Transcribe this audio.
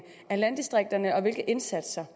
af landdistrikterne og hvilke indsatser